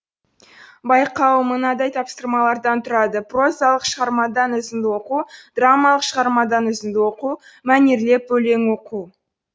байқау мынадай тапсырмалардан тұрады прозалық шығармадан үзінді оқу драмалық шығармадан үзінді оқу мәнерлеп өлең оқу